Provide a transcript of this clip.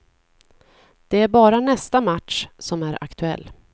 Det är bara nästa match som är aktuell.